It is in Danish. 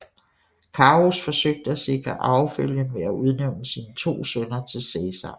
Carus forsøgte at sikre arvefølgen ved at udnævne sine to sønner til Cæsar